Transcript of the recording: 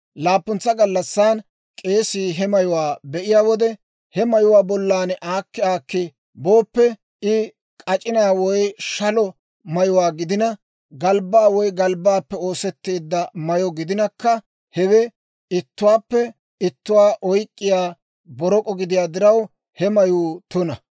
Laappuntsa gallassan k'eesii he mayuwaa be'iyaa wode; he mayuwaa bollan aakki aakki booppe, I k'ac'inaa woy shalo mayuwaa gidina, galbbaa woy galbbaappe oosetteedda mayyo gidinakka, hewe ittuwaappe ittuwaa oyk'k'iyaa borok'o gidiyaa diraw, he mayuu tuna.